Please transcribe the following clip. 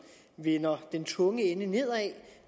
vender den tunge ende nedad